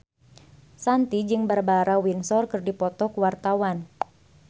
Shanti jeung Barbara Windsor keur dipoto ku wartawan